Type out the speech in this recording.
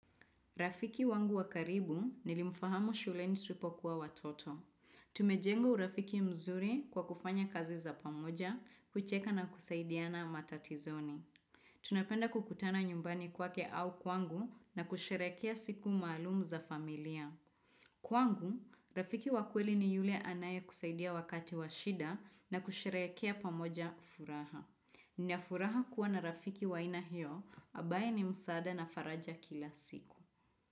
Rafiki wangu wakaribu nilimfahamu shuleni tulipokuwa watoto. Tumejenga urafiki mzuri kwa kufanya kazi za pamoja, kucheka na kusaidiana matatizoni. Tunapenda kukutana nyumbani kwake au kwangu na kusherekea siku maalumu za familia. Kwangu, rafiki wakweli ni yule anaye kusaidia wakati washida na kusherekea pamoja furaha. Nina furaha kuwa na rafiki wa aina hio, ambaye ni msaada na faraja kila siku.